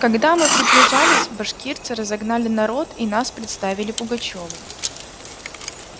когда мы приближились башкирцы разогнали народ и нас представили пугачёву